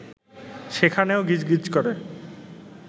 সেখানেও গিজ গিজ করে